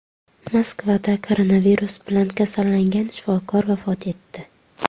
Moskvada koronavirus bilan kasallangan shifokor vafot etdi.